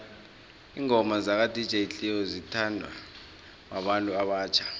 ingoma zaka dj cleo zithanwa babantu abatjha